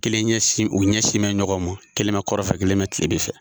Kelen ɲɛsin u ɲɛsinnen bɛ ɲɔgɔn ma, kelen bɛ kɔrɔnfɛ kelen bɛ kilebi fɛ.